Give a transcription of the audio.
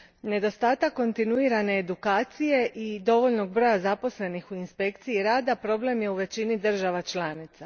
Nedostatak kontinuirane edukacije i dovoljnog broja zaposlenih u inspekciji rada problem je u većini država članica.